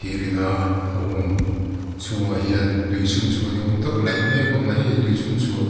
a hung chhungah hian tui chhunchhuah ni awm tak laih mek a awm a heng tui chhunchhuah--